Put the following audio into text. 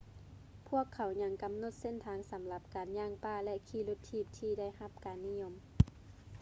ພວກເຂົາຍັງກຳນົດເສັ້ນທາງສຳລັບການຍ່າງປ່າ ແລະ ຂີ່ລົດຖີບທີ່ໄດ້ຮັບຄວາມນິຍົມ